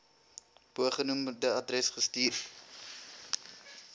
bogenoemde adres gestuur